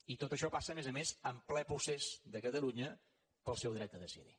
i tot això passa a més a més en ple procés de catalunya pel seu dret a decidir